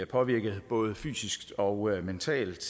påvirket både fysisk og mentalt